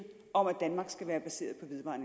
om at danmark skal være baseret